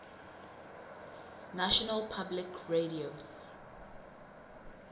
national public radio